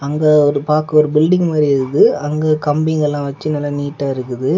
இத ஒரு பாக்க ஒரு பில்டிங் மாறி இருக்கு அங்க கம்பிங்களா வச்சி நல்ல நீட்டா இருக்கு.